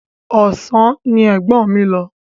Ọ̀sán ni ẹ̀gbọ́n mi lọ.